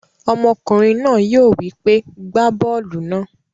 Ọmọkùnrin náà yóò wípé, 'gbá bọ́ọ̀lù náà.